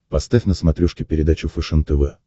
поставь на смотрешке передачу фэшен тв